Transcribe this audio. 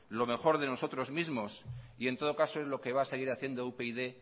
lo mejor de nosotros mismos y en todo caso es lo que va a seguir haciendo upyd